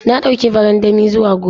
Na dauki barandami zuwa gona.